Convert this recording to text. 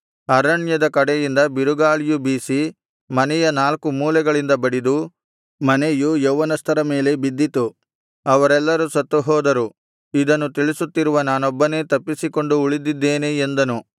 ಅರಣ್ಯದ ಕಡೆಯಿಂದ ಬಿರುಗಾಳಿಯು ಬೀಸಿ ಮನೆಯ ನಾಲ್ಕು ಮೂಲೆಗಳಿಗೆ ಬಡಿದು ಮನೆಯು ಯೌವನಸ್ಥರ ಮೇಲೆ ಬಿದ್ದಿತು ಅವರೆಲ್ಲರು ಸತ್ತು ಹೋದರು ಇದನ್ನು ತಿಳಿಸುತ್ತಿರುವ ನಾನೊಬ್ಬನೇ ತಪ್ಪಿಸಿಕೊಂಡು ಉಳಿದಿದ್ದೇನೆ ಎಂದನು